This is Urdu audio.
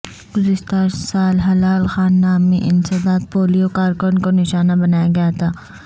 گزشتہ سال ہلال خان نامی انسداد پولیو کارکن کو نشانہ بنایا گیا تھا